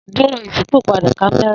Duro iṣipopada kamẹra